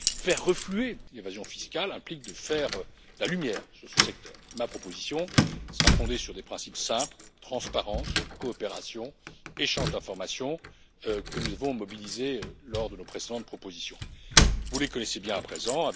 Faire refluer l'évasion fiscale implique de faire la lumière sur ce secteur. Ma proposition sera fondée sur des principes simples transparence, coopération, échange d'informations que nous avons mobilisés lors de nos précédentes propositions. Vous les connaissez bien à présent.